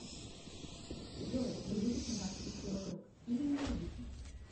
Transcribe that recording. джой вы любите нас и все вокруг или ненавидите